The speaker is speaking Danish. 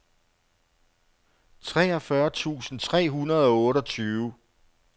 treogfyrre tusind tre hundrede og otteogtyve